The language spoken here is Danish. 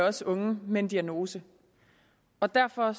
også unge med en diagnose og derfor